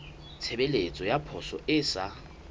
tshebeletso ya poso e sa